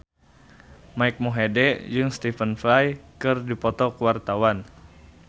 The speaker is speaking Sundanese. Mike Mohede jeung Stephen Fry keur dipoto ku wartawan